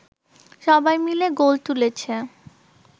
সবাই মিলে গোল তুলেছে